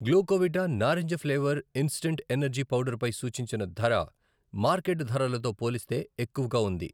గ్లూకోవిటా నారింజ flavour instant energy powder పై సూచించిన ధర మార్కెట్ ధరలతో పోలిస్తే ఎక్కువగా ఉంది.